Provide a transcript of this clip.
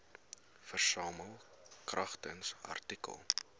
versamel kragtens artikel